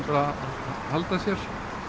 halda sér